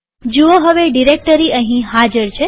જુઓ હવે ડિરેક્ટરી અહીં હાજર છે